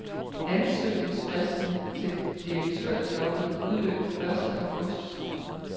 Ansøgningsfristen til direktørjobbet udløb første august.